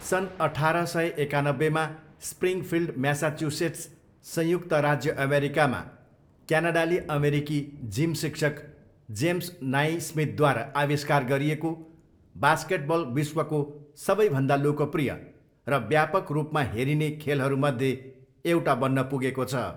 सन् अठार सय एकानब्बेमा स्प्रिङफिल्ड, म्यासाचुसेट्स, संयुक्त राज्य अमेरिकामा क्यानाडाली अमेरिकी जिम शिक्षक जेम्स नाइस्मिथद्वारा आविष्कार गरिएको बास्केटबल विश्वको सबैभन्दा लोकप्रिय र व्यापक रूपमा हेरिने खेलहरूमध्ये एउटा बन्न पुगेको छ।